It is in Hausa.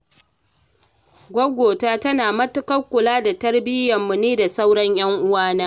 Gwaggo ta tana matuƙar kula da tarbiyyar mu ni da sauran 'yan uwa na